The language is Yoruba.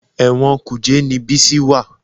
Ẹ̀wọ̀n Kùjẹ́ ni Bísí wà